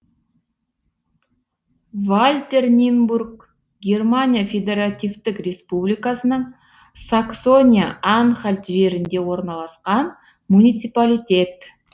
вальтернинбург германия федеративтік республикасының саксония анхальт жерінде орналасқан муниципалитет